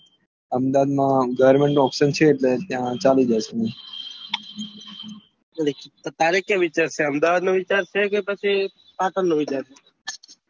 Ahmedabad goverment નું option એટલે ત્યાં ચાલી જશે તો તારે ક્યાં વિચાર છે અહમદાવાદ નો વિચાર છે કે પછી પાટણ નો વિચાર છે